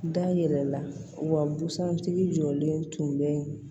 Da yɛrɛ la wa busan tigi jɔlen tun bɛ